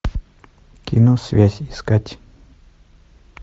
кино связь искать